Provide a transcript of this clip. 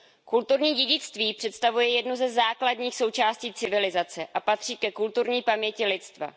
Kulturní dědictví představuje jednu ze základních součástí civilizace a patří ke kulturní paměti lidstva.